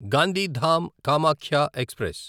Gandhidham Kamakhya express